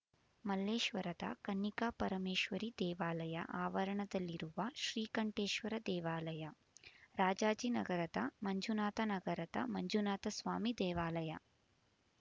ಮಲ್ಲೇಶ್ವರದ ಕನ್ನಿಕಾಪರಮೇಶ್ವರಿ ದೇವಾಲಯ ಆವರಣದಲ್ಲಿರುವ ಶ್ರೀಕಂಠೇಶ್ವರ ದೇವಾಲಯ ರಾಜಾಜಿನಗರದ ಮಂಜುನಾಥ ನಗರದ ಮಂಜುನಾಥಸ್ವಾಮಿ ದೇವಾಲಯ